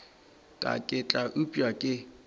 ka ke tla upša ke